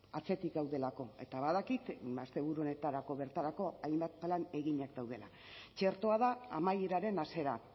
atzetik gaudelako eta badakit asteburu honetarako bertarako hainbat plan eginak daudela txertoa da amaieraren hasiera